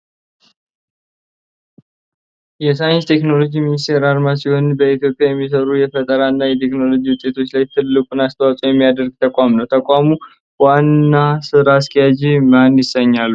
የሳይንስና ቴክኖሎጂ ሚኒስቴር አርማ ሲሆን በኢትዮጵያ የሚሰሩ የፈጠራና የቴክኖሎጂ ውጤቶች ላይ ትልቁን አስተዋጽኦ የሚያደርግ ተቋም ነው። ተቋም ዋና ስራ አስኪያጅ ማን ይሰኛሉ?